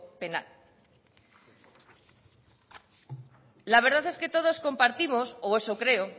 penal la verdad es que todos compartimos o eso creo